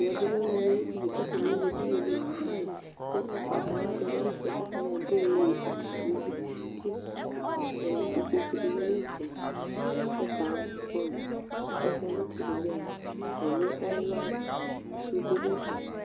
ɛmɛ bi lɛ ɔloɛdi ayi ɛdini k'atani ewle edini yɛ do fain k'ugbata wla di do ayi ɛto k'atani ado yeye di tsi to n'ugli kò ikpoku di ma n'ɛfɛ k'ɛfɛ aboɛ amo k'akɔsu ɣa n'itsɛdi bi ya mo ɛlu sude n'ɛfɛ